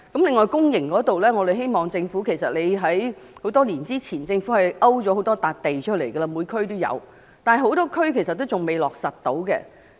此外，公營骨灰龕方面，政府很多年前已在各區勾出了多塊土地，但仍有很多地區仍未落實興建。